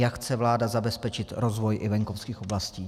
Jak chce vláda zabezpečit rozvoj i venkovských oblastí?